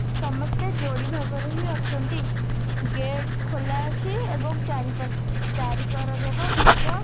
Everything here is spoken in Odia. ସମସ୍ତେ ଯୋଡ଼ି ଭାବରେ ହିଁ ଅଛନ୍ତି ଗେଟ୍ ଖୋଲା ଅଛି ଏବଂ ଚାରିପଟ ଚାରି କର ଯାକ ଘାସ--